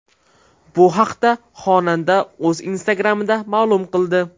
Bu haqda xonanda o‘z Instagram’ida ma’lum qildi .